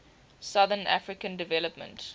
southern african development